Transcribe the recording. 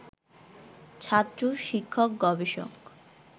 ছাত্র, শিক্ষক, গবেষক